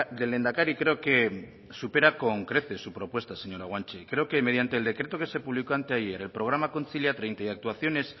del lehendakari creo que supera con creces su propuesta señora guanche creo que mediante el decreto que se publicó anteayer el programa kontzilia treinta y actuaciones